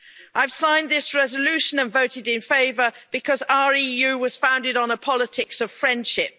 I've signed this resolution and voted in favour because our EU was founded on a politics of friendship.